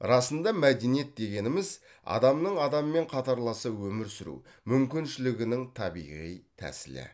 расында мәдениет дегеніміз адамның адаммен қатарласа өмір сүру мүмкіншілігінің табиғи тәсілі